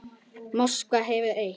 Moskva hefur eitt.